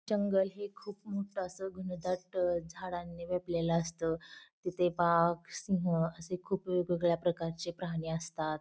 जंगल हे खूप मोठ अस घनदाट झाडांनी भरलेल असत तिथे वाघ सिंह असे खूप वेगवेगळ्या प्रकारचे प्राणी असतात.